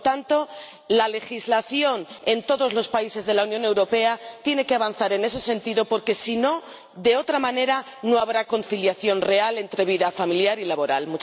Por lo tanto, la legislación en todos los países de la Unión Europea tiene que avanzar en ese sentido, porque si no, de otra manera, no habrá conciliación real entre vida familiar y laboral.